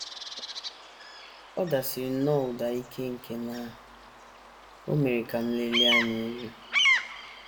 Ọ dasiri nnọọ ụda ike nke na o mere ka m lelie anya elu.